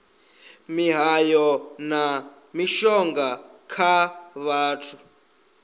mihayo na mishonga kha vhathu